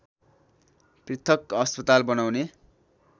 पृथक अस्पताल बनाउने